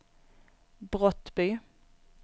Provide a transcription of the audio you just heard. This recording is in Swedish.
Brottby